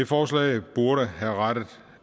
forslag burde have rettet